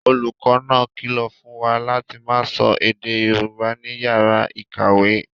Olùkọ́ náà kìlọ̀ fún wa láti máa sọ èdè Yorùbá ní yàrá ìkàwé